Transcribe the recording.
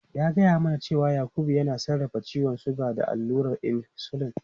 Ya gaya mana cewa Yakubu yana sarrafa ciwon suga da allurar insulin.